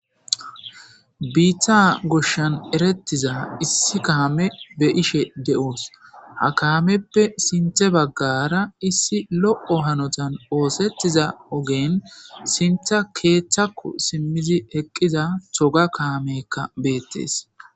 biitta goshshan erettiza issi kaame be ishe de7oos ha kaameppe sinthe baggara issi loqo hanotan oosettiza ogen sintha keeththako simmizi eqqiza toga kaamekka beettes